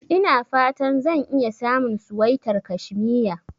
Ina fata zan iya samun suwaitar kashmiya.